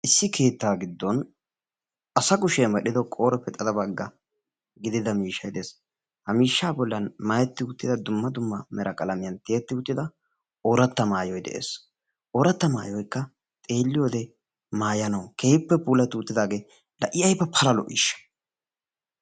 Issi keettaa giddon asa kushiyan medhdhido qooreppe xade bagga gidida miishshayi de7es. Ha miishshaa bollan maayetti uttida dumma dumma mera qalamiyan tiyetti uttida ooratta maayoyi de7ees. Ooratta maayoyikka xeelliyoode maayanawu keehippe puulatti uttidaagee la i ayiba pala lo7iishsha.